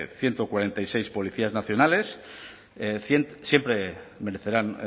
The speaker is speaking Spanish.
ciento cuarenta y seis policías nacionales siempre merecerán